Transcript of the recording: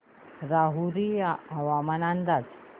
राहुरी हवामान अंदाज